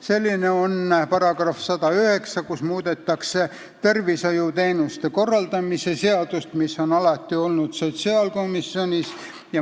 Selline on § 109, kus muudetakse tervishoiuteenuste korraldamise seadust, mis on alati olnud sotsiaalkomisjonis.